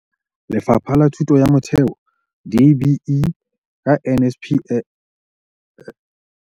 Lefapha la Thuto ya Motheo, DBE, ka NSNP.